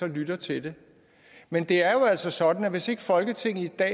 lytter til det men det er jo altså sådan at hvis ikke folketinget i dag